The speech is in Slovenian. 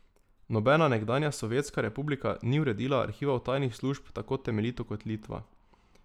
Nobena nekdanja sovjetska republika ni uredila arhivov tajnih služb tako temeljito kot Litva.